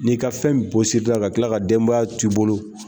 N'i ka fɛn bɔsir'i la ka tila ka denbaya to i bolo